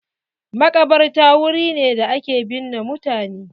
Makabarta wuri ne da ake binne mutane.